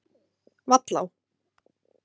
Vallá